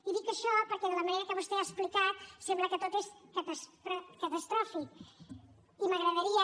i dic això perquè de la manera que vostè ho ha explicat sembla que tot és catastròfic i m’agradaria